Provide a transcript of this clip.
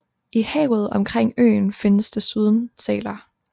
I havet omkring øen findes desuden sæler